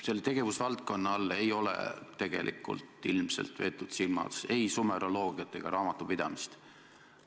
Selle tegevusvaldkonna all ei ole ilmselt silmas peetud ei sumeroloogiat ega raamatupidamist.